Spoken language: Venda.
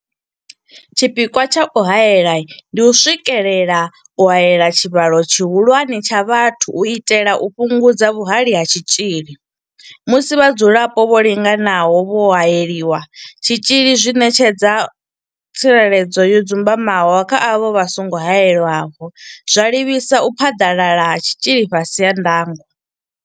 Tshipikwa tsha u haela ndi u swikelela u haela tshivhalo tshihulwane tsha vhathu u itela u fhungudza vhuhali ha tshitzhili musi vhadzulapo vho linganaho vho haelelwa tshitzhili zwi ṋetshedza tsireledzo yo dzumbamaho kha avho vha songo haelwaho, zwa livhisa u phaḓalala ha tshitzhili fhasi ha ndango.